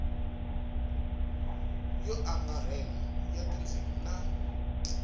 yo angarhela ya tindzimi ta